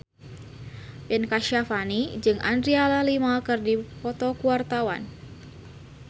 Ben Kasyafani jeung Adriana Lima keur dipoto ku wartawan